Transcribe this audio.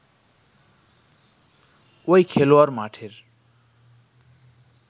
ঐ খেলোয়াড় মাঠের